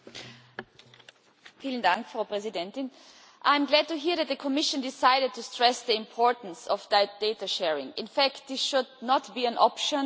Madam President, I am glad to hear that the Commission decided to stress the importance of data sharing. In fact this should not be an option but a must.